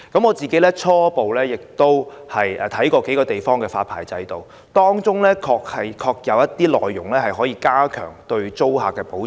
我初步參考了數個地方的發牌制度，當中確實有些措施可以加強對租客的保障。